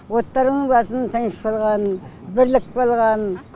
оттарыңның басын тыныш болғанын бірлік болғанын